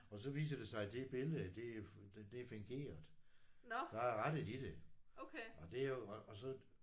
Og så viser det sig det billede det det er fingeret. Der er rettet i det og det er jo og og så